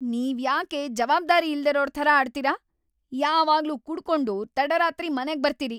ನೀವ್ಯಾಕೆ ಜವಾಬ್ದಾರಿ ಇಲ್ದಿರೋರ್‌ ಥರ ಆಡ್ತೀರ? ಯಾವಾಗ್ಲೂ ಕುಡ್ಕೊಂಡು ತಡರಾತ್ರಿ ಮನೆಗ್ ಬರ್ತೀರಿ.